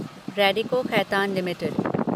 Radico Khaitan limited